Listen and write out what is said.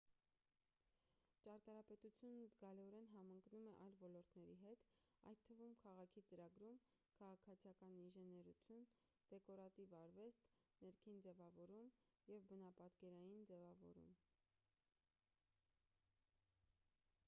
ճարտարապետությունն զգալիորեն համընկնում է այլ ոլորտների հետ այդ թվում քաղաքի ծրագրում քաղաքացիական ինժեներություն դեկորատիվ արվեստ ներքին ձևավորում և բնապատկերային ձևավորում